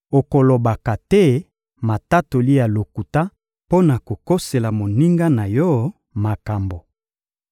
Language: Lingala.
Okolobaka te matatoli ya lokuta mpo na kokosela moninga na yo makambo.